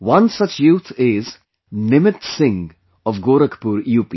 One such youth is Nimit Singh of Gorakhpur,U